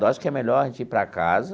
Eu acho que é melhor a gente ir para casa,